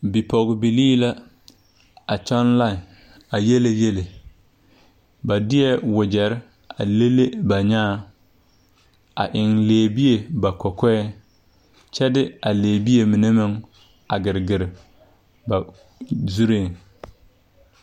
Bipɔgbilii la a kyɔŋ lai yiele yele ba deɛɛ wogyɛrre a le le ba nyaaŋ a eŋ lɛɛbie ba kɔkɔɛŋ kyɛ de a lɛɛbie mine meŋ a giregire ba zureeŋ.